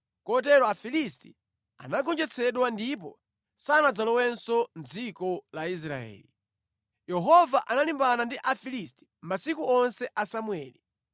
Kotero Afilisti anagonjetsedwa ndipo sanadzalowenso mʼdziko la Israeli. Yehova analimbana ndi Afilisti masiku onse a Samueli.